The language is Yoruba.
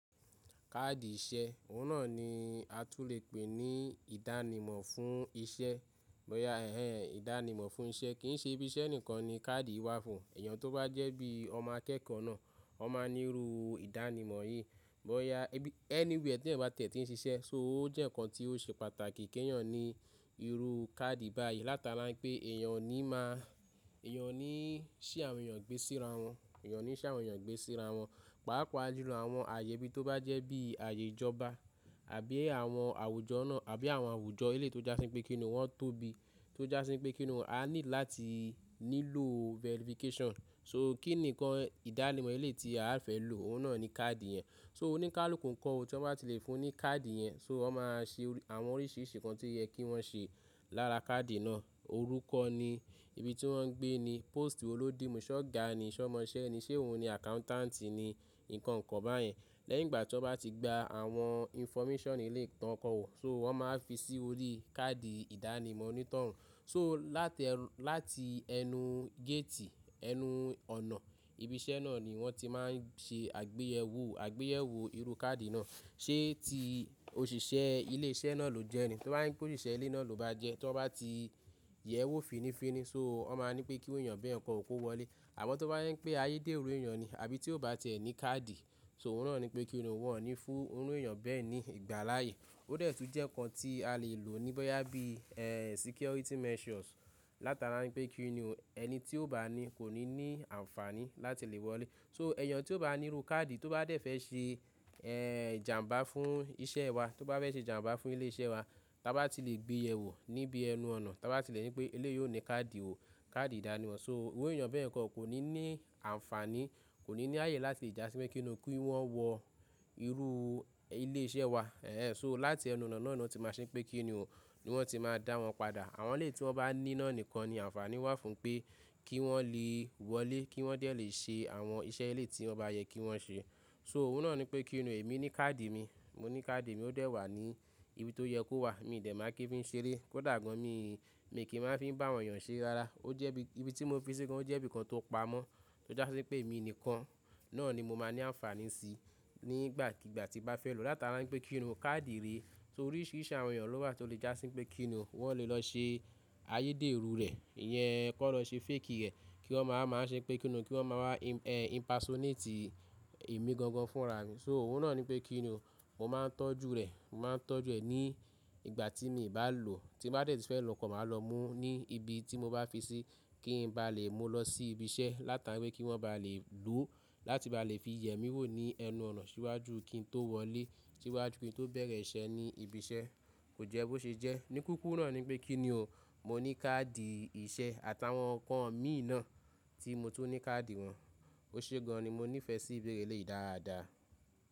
Kaadi ìṣe, òun náà ní á tún lè pè ní ìdánimọ̀ fún iṣẹ́. Bóyá ẹ̀hen ìdánimọ̀ fún iṣẹ́, kì í ṣe ibí iṣẹ́ nìkan ní káàdì wá fún. Ẹ̀yàn tó bá jẹ́ bí ọmọ akẹ́kọ̀ọ́ náà, wọ́n máa ń níru ìdánimọ̀ yìí. Bóyà ẹbí-- anywhere tí ẹyan bá tí ẹ tin ṣiṣẹ́, so ó jẹ́ nǹkan tí ó ṣe pàtàkì kí ẹ̀yàn ní irú káàdì báyìí. Látara ń pé ẹ̀yàn ò ní máa, ẹ̀yàn ò ní í ṣi àwọn èèyàn gbé síra wọ́n, ẹ̀yàn ò ní ṣàwọn èèyàn gbé síra wọ́n. Pàápàá jùlọ àwọn ààyè bí tó bá jẹ́ bí ààyè ìjọba àbí àwọn àwùjọ nà àbí àwọn àwùjọ eléyi tó jásín pé kí ni wọ́n tó bi, tó jásín pé kí ni wọ́n, a ní láti nílò verification. So kíni nǹkan ìdánimọ̀ eleyi tí a fẹ́ lò, òun náà ni káàdì yẹn. So oníkálukú ǹkan tí wọ́n bá ti lè fún ní káàdì yẹn, so wọ́n máa ṣe àwọn oríṣiríṣi ǹkan tí ó yẹ kí wọ́n ṣe lára káàdì náà. Orúkọ ni, ibi tí wọ́n ń gbé ni, pósìtì wo lódimu, ṣọ́gà ni, sọ́mọṣẹ́ ni, ṣe òun ni àkáúntàǹtì ni, nǹkan kan báyen. Lẹ́yìn ìgbà tí wọ́n bá ti gba àwọn information eleyi tán kọọ, so wọ́n má wá fi sí orí káàdì ìdánimọ̀ onítọ̀hún. So láti ẹrú-- láti ẹnu géètì, ẹnu ọ̀nà ibi iṣẹ́ náà ni wọ́n ti máa ń ṣe àgbéyẹ̀wò, àgbéyẹ̀wò irú káàdì náà. Ṣé ti òṣìṣẹ́ ilé iṣẹ́ náà ló jẹ́ ni? Tó bá jẹ́ pé òṣìṣẹ́ ilé náà ló bá jẹ́, tó wọ́n bá ti yẹ̀wò fínnífínní, so wọ́n máa ń pẹ́ kí irú ẹ̀yàn bẹ ǹkan kò wọlé. Àmọ́ tó bá jẹ́ pé ayédèrú èèyàn ni àbí tí ó bá tí ẹ ní káàdì, so òun náà ni pé kí ni, wọ́n ò ní fún irú èèyàn bẹ́ẹ̀ ní ìgbà láàyè. Ó dẹ̀ tún jẹ́ ǹkan tí a lè lò ní bọ́yá bí, ẹ́ẹ́, security measures, látara wípé kí ni o, ẹni tí ó bá ní kò ní ní àǹfààní láti lè wọlé. So ẹ̀yàn tí ó bá ní irú káàdì tó bá dẹ̀ fẹ́ ṣe, ẹ́ẹ́, ìjàǹbá fún iṣẹ́ wa, tó bá fẹ́ ṣe ìjàǹbá fún ilé iṣẹ́ wa, táa bá ti lè gbeyẹ̀wò níbi ẹnu ọ̀nà, táa bá ti lè ní pé eléyìí ò ní káàdì ò, káàdì ìdánimọ̀. So irú èèyàn bẹ́ẹ̀ kọ́, kò ní ní àǹfààní, kò ní ní ààyè láti lè jásín pé kí ni kí wọ́n wọ irú ilé iṣẹ́ wa. Ẹ̀ẹ́, so láti ẹnu ọ̀nà náà ni wọ́n ti máa ṣe pé kí ni o, ni wọ́n ti máa dá wọn padà. Àwọn eléyìí tí wọ́n bá ní náà nìkan ni àǹfààní wà fún pé kí wọ́n lè wọlé, kí wọ́n dẹ lè ṣe àwọn iṣẹ́ eléyi tí wọ́n bá yẹ kí wọ́n ṣe. So òun náà ni pé kí ni o, èmi ní káàdì mi, mo ní káàdì mi ó dẹ̀ wà ní ibi tó yẹ kó wà. Mi dẹ̀ máa kí ń fi ń ṣeré, kòdà gan mi, mi kì í máa fi ń bá àwọn èèyàn ṣe rárá. Ó jẹ́ bí, ibi tí mo fi sí gan ó jẹ́ ibi kan tó pamọ́, tó jásí pé èmi nìkan, náà ni mo máa ní àǹfààní sí nígbàkigbà tí n bá fẹ́ lò, látara wípé kí ni o, káàdì rèẹ́. So oríṣiríṣi àwọn èèyàn ló wà tí ó lè jásín pé kí ni o, wọ́n lè lọ ṣe ayédèrú rẹ̀, ìyẹn kó lọ ṣe fake ẹ̀, kí wọ́n máa, máa ṣe pé kí ni o, kí wọ́n máa wá im-- ẹ́ ẹ́, impersonate èmi gan gan fúnra mi. So òun náà ni pé kí ni o, mo máa ń tọ́jú rẹ̀, mo máa ń tọ́jú ẹ̀ ní ìgbà tí mi bá lò. Tí ń bá dẹ̀ ti fẹ́ lọ kan, má lọ mú ní ibi tí mo bá fi sí kí ń bá lè mú lọ sí ibi iṣẹ́ látara wípé kí wọ́n bá lè lò. Láti bá lè fi yẹ mí wò ní ẹnu ọ̀nà síwájú kí n tó wọlé, síwájú kí n tó bẹ̀rẹ̀ iṣẹ́ ní ibi iṣẹ́. Kò jẹ́ bó ṣe jẹ́. Ní kúrúkù náà ni pé kí ni o, mo ní káàdì ìṣe àtàwọn ǹkan mi náà tí mo tó ní káàdì wọn. Ó ṣe gan-an ní mo nífẹ̀ẹ́ sí ìbéèrè eléyi dáadáa.